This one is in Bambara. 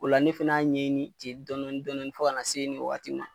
O la ne fana y'a ɲɛɲini jeli dɔɔni dɔɔni fɔ k'a na se nin wagatiw ma.